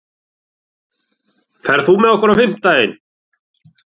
Ina, ferð þú með okkur á fimmtudaginn?